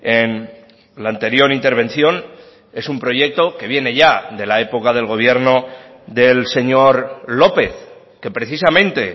en la anterior intervención es un proyecto que viene ya de la época del gobierno del señor lópez que precisamente